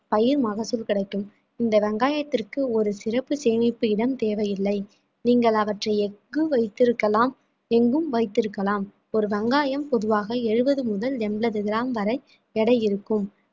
பயிர் மகசூல் கிடைக்கும் இந்த வெங்காயத்திற்கு ஒரு சிறப்பு சேமிப்பு இடம் தேவையில்ல நீங்கள் அவற்றை எங்கு வைத்திருக்கலாம் எங்கும் வைத்திருக்கலாம் ஒரு வெங்காயம் பொதுவாக எழுபது முதல் எண்பது gram வரை எடை இருக்கும்